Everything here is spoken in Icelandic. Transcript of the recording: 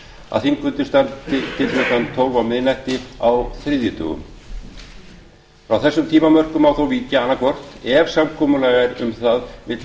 að þingfundir standi til klukkan tólf á miðnætti á þriðjudögum frá þessum tímamörkum má þó víkja annaðhvort ef samkomulag er um það milli